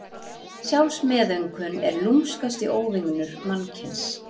Sjálfsmeðaumkun er lúmskasti óvinur mannkyns.